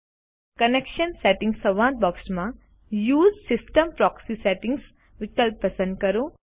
connection settings સંવાદ બૉક્સમાં USE system proxy settings વિકલ્પ પસંદ કરો